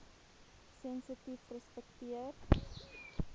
sensitiefrespekteer